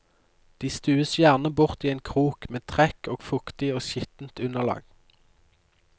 De stues gjerne bort i en krok med trekk og fuktig og skittent underlag.